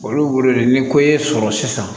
Olu wele ni ko y'i sɔrɔ sisan